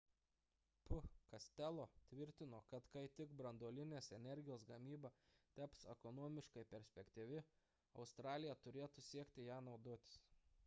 p costello tvirtino kad kai tik branduolinės energijos gamyba taps ekonomiškai perspektyvi australija turėtų siekti ja naudotis